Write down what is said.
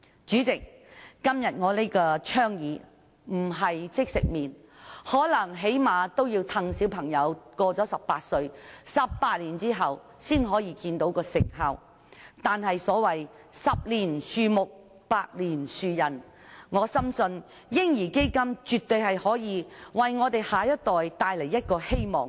主席，今天我這項倡議並非即食麪，最低限度要在18年後，待小朋友年滿18歲，才能看見其成效，但所謂"十年樹木，百年樹人"，我深信"嬰兒基金"絕對可以為我們的下一代帶來希望。